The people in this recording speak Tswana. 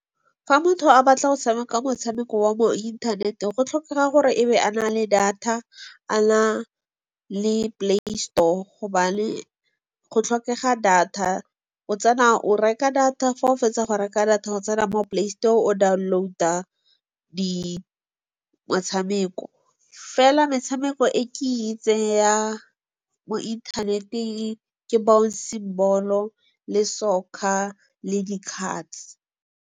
Fa motho a batla go tshameka motshameko wa mo inthaneteng, go tlhokega gore e be a na le data, a na le Play Store gobane go tlhokega data. O tsena, o reka data, fa o fetsa go reka data o tsena mo Play Store o download-a metshameko. Fela metshameko e ke e itseng ya mo inthaneteng ke Bouncy Ball-o, le soccer le di-cards.